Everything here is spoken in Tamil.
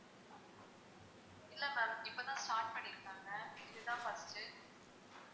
இல்லை ma'am இப்போ தான் start பண்ணியிருக்காங்க இது தான் first உ